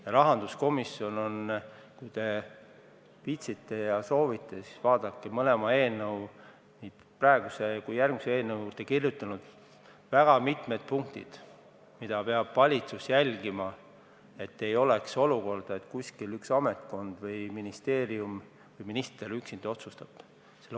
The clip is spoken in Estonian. Ja rahanduskomisjon on – kui te viitsite ja soovite, siis vaadake üle – mõlema eelnõu, nii selle kui ka järgmise eelnõu juurde kirjutanud väga mitmed punktid selle kohta, mida peab valitsus jälgima, et ei oleks olukorda, kus üks ametkond, üks ministeerium või minister üksinda otsustab.